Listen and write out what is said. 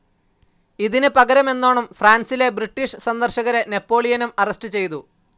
ഇതിന് പകരമെന്നോണം ഫ്രാൻസിലെ ബ്രിട്ടീഷ് സന്ദർശകരെ നെപ്പോളിയനും അറസ്റ്റ്‌ ചെയ്തു.